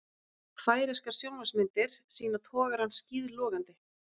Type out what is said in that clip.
Færeyskar sjónvarpsmyndir sýna togarann skíðlogandi